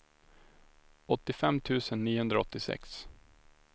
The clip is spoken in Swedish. åttiofem tusen niohundraåttiosex